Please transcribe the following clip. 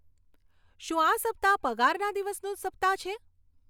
શું આ સપ્તાહ પગારના દિવસનું સપ્તાહ છે